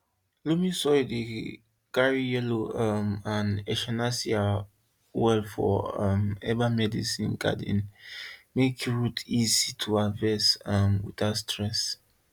loamy soil dey carry yarrow um and echinacea well for um herbal medicine garden make root easy to harvest um without stress